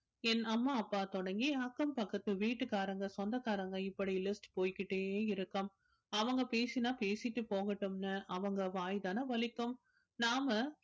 என் அம்மா அப்பா தொடங்கி அக்கம் பக்கத்து வீட்டுக்காரங்க சொந்தக்காரங்க இப்படி list போய்க்கிட்டே இருக்கும் அவங்க பேசினா பேசிட்டு போகட்டும்னு அவங்க வாய்தானே வலிக்கும் நாம